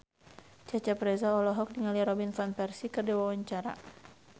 Cecep Reza olohok ningali Robin Van Persie keur diwawancara